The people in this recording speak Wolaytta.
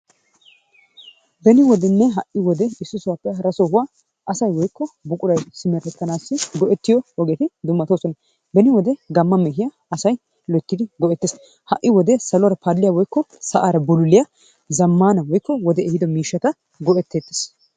Beni wodenne ha'i wode issi sohuwaappe hara sohuwa asay woykko buquray simeretanawu go'ettiyo ogeti dummatoosona. Beni wode gama mehiya asay loyttidi go'etees. Ha'i wode saluwara paaliya woykko sa'aara bululliya zamana woykko wodee ehiido miishata go'eteteees.